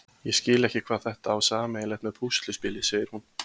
Ég skil ekki hvað þetta á sameiginlegt með púsluspili, segir hún.